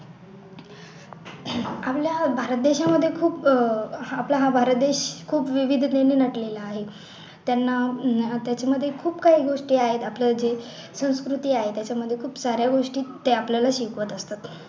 आपल्या भारत देशामध्ये खूप आपला हा भारत देश विविधतेने गेलेला आहे त्यांना त्याच्या मध्ये खूप काही गोष्टी आहेत आपल्याला जे संस्कृती आहे त्याच्या मध्ये खूप साऱ्या गोष्टी ते आपल्याला शिकवत असतात